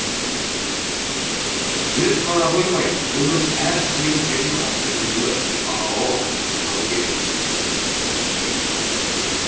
біліп қана қоймай оның әр сүйем жерін қастерлеуі бағалауы асқақтатуы керек